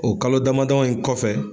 O kalo damadɔ in kɔfɛ